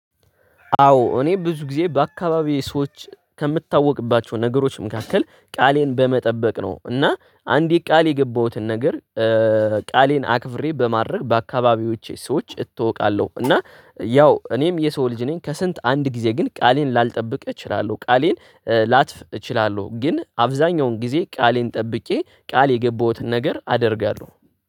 አዎ እኔ ብዙ ጊዜ በአካባቢው ሰዎች ከምታወቅባቸው ነገሮችም መካከል ቃሌን በመጠበቅ ነው እና አንዲት ቃል የገባሁትን ነገር ቃሌን አክብሬ በማድረግ በአካባቢዎቼ ሰዎች እታወቃለሁ እና ያው እኔም የሰው ልጅ ነኝ ከስንት አንድ ጊዜ ግን ቃሌን ላልጠብቅ እችላለሁ። ቃሌን ላትፍ እችላለሁ ግን አብዛኛውን ጊዜ ቃሌን ጠብቄ ቃል የገቡትን ነገር አደርጋለሁ።